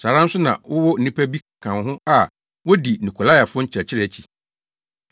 Saa ara nso na wowɔ nnipa bi ka wo ho a wodi Nikolaifo nkyerɛkyerɛ akyi.